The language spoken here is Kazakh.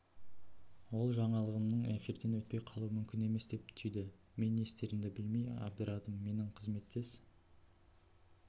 ол жаңалығымның эфирден өтпей қалуы мүмкін емес деп түйді мен не істерімді білмей абдырадым менің қызметтес